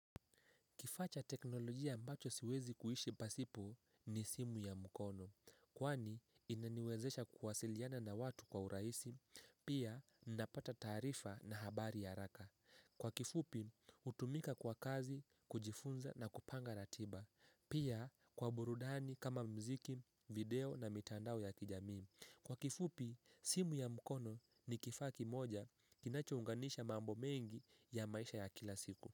Kifaa cha teknolojia ambacho siwezi kuishi pasipo ni simu ya mkono. Kwani inaniwezesha kuwasiliana na watu kwa urahisi pia napata taarifa na habari ya haraka. Kwa kifupi hutumika kwa kazi, kujifunza na kupanga ratiba. Pia kwa burudani kama mziki video na mitandao ya kijamii. Kwa kifupi simu ya mkono ni kifaa kimoja kinachounganisha mambo mengi ya maisha ya kila siku.